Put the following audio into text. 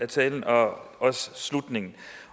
talen og også slutningen